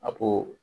A ko